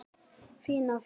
Fín af þér.